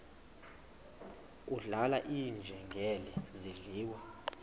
kudlala iinjengele zidliwa